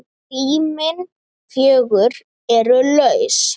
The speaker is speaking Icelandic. Rýmin fjögur eru laus.